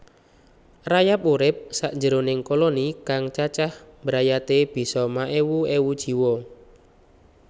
Rayap urip sakjeroning koloni kang cacah brayate bisa maèwu èwu jiwa